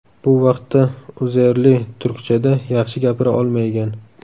Bu vaqtda Uzerli turkchada yaxshi gapira olmaygan.